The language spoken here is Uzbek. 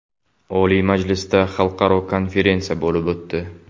Oliy Majlisda xalqaro konferensiya bo‘lib o‘tdi.